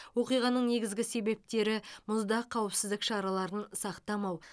оқиғаның негізгі себептері мұзда қауіпсіздік шараларын сақтамау